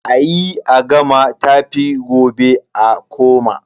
A yi a gama tafi gobe a koma.